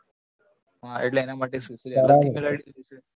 એટલે એના માટે શું શું email જોઈશે?